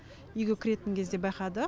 үйге кіретін кезде байқадық